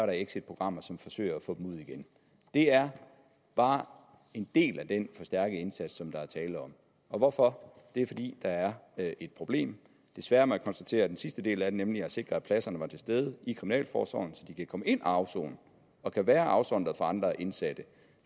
exitprogrammer som forsøger at få dem ud igen det er bare en del af den forstærkede indsats som der er tale om hvorfor det er fordi der er et problem desværre må jeg konstatere at den sidste del af det nemlig at sikre at pladserne var til stede i kriminalforsorgen så de kan komme ind og afsone og være afsondret fra andre indsatte